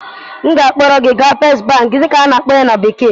M ga-akpọrọ gị gaa First Bank dịka a na-akpọ ya na bekee